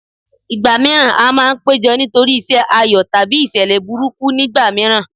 Ìgbà mìíràn a máa ń péjọ nítorí iṣẹ́ ayọ̀ tàbí ìṣẹ̀lẹ̀ burúkú nígbà mìíràn